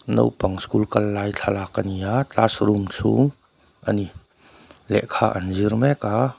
naupang school kal lai thlalak ani a classroom chhung a ni lehkha an zir mek a.